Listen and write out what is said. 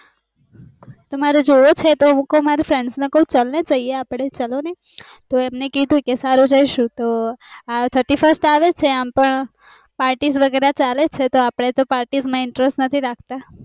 તો મારે જોવો છે તો હું કું ચલ ને જાય આવ્યે ચાલો ને તો એને કીધું ક સારું જૈસુ તો આ થીર્ત્યસ્રીસ્ત આવે છે અમ પણ party માં interest નથી રાખતા